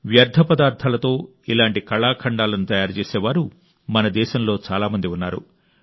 వ్యర్థపదార్థాలతో ఇలాంటి కళాఖండాలను తయారు చేసేవారు మన దేశంలో చాలా మంది ఉన్నారు